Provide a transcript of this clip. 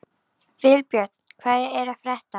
Vilbjörn, hvað er að frétta?